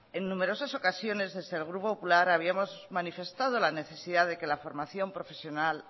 en numerosas ocasiones desde el grupo popular habíamos manifestado la necesidad de que la formación profesional